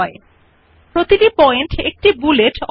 এইভাবে এক নথিতে লিখিত বিভিন্ন পয়েন্ট মধ্যে পার্থক্য করতে পারেন